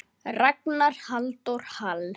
Ragnar Halldór Hall.